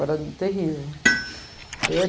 Eu era terrível.